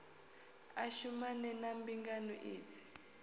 a shumane na mbingano idzi